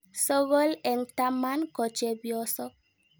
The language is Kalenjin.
Sokol eng' taman ko chepyosok.